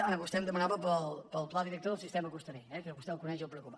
ah vostè em demanava pel pla director del sistema costaner que vostè el coneix i el preocupa